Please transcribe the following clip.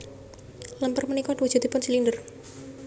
Lemper punika wujudipun silinder